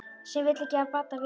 Sem vill ekki af Badda vita.